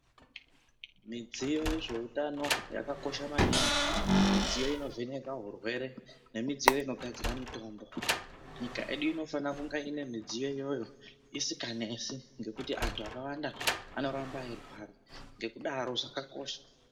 Midziyo yezveutano yakakosha maningi. Midziyo inovheneka hurwere nemidziyo inogadzira mitombo. Nyika yedu inofana kunga midziyo iyoyo isikanesi nekuti antu akawanda anoramba eirwara, ngekudaro zvakakosha.